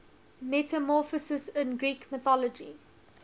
metamorphoses in greek mythology